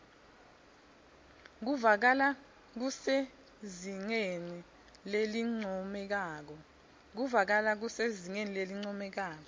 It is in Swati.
kuvakala kusezingeni lelincomekako